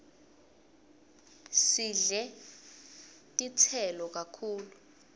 sidle titselo kakhulu